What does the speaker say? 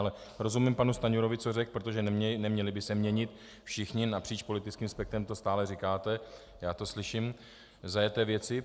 Ale rozumím panu Stanjurovi, co řekl, protože neměly by se měnit - všichni napříč politickým spektrem to stále říkáte, já to slyším - zajeté věci.